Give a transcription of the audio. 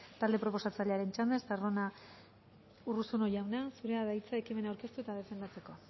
talde proposatzailearen txanda urruzuno jauna zurea da hitza ekimena aurkeztu eta defendatzeko